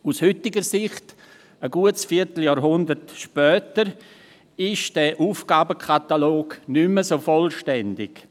Aus heutiger Sicht, ein gutes Vierteljahrhundert später, ist dieser Aufgabenkatalog nicht mehr ganz vollständig.